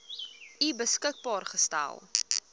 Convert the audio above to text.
u beskikbaar gestel